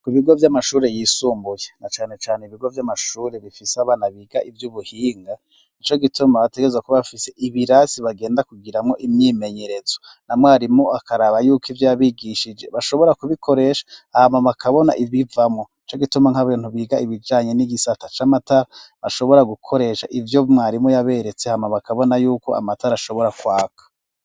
Ku bigo vy'amashuri yisumbuye na cane cane ibigo by'amashuri bifise abana biga ivy'ubuhinga nico gituma bategereza kuba bafise ibirasi bagenda kugiramo imyimenyerezo na mwarimu akaraba yuko ivyo yabigishije bashobora kubikoresha ahamama kabona ibivamo ico gituma nk'abintu biga ibijanye n'igisata c'amatara bashobora gukoresha ivyo mwarimu yaberetse aha mama kabona yuko amatara ashobora kwaka.